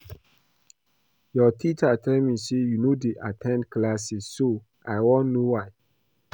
Your teacher tell me say you no dey at ten d classes so I wan know why